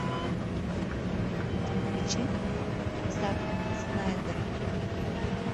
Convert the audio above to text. включи зака снайдера